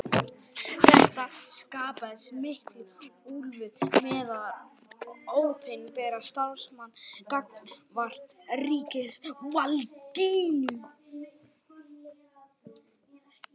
Þetta skapaði mikla úlfúð meðal opinberra starfsmanna gagnvart ríkisvaldinu.